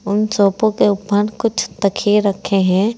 उन सोफो के ऊपर कुछ तकिये रखे हैं।